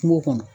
Kungo kɔnɔ